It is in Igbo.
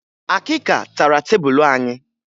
Akịka tara tebulu anyị